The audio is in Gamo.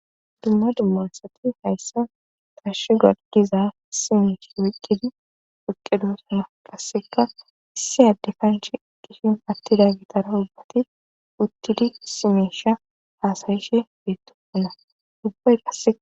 Dumma dummasati hayssa tashi gargiza simesh woyqqidi piqqedosama qasseka issi addi kanchi qishim attida gitara ubbati uttidi simesha haasayishe beettoina dubbay qase.